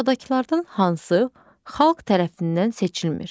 Aşağıdakılardan hansı xalq tərəfindən seçilmir?